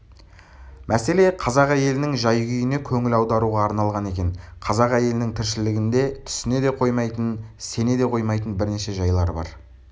мәселе қазақ әйелінің жай-күйіне көңіл аударуға арналған екен қазақ әйелінің тіршілігінде түсіне де қоймайтын сене де қоймайтын бірнеше жайлар бар